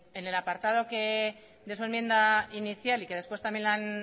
en el apartado de su enmienda inicial y que después también la han